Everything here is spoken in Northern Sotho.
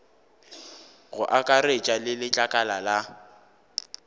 go akaretša le letlakala la